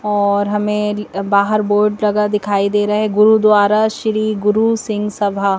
और हमें बाहर बोर्ड लगा दिखाई दे रहा है गुरुद्वारा श्री गुरु सिंह सभा--